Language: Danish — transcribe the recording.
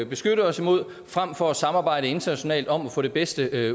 beskytte os imod frem for at samarbejde internationalt om at få det bedste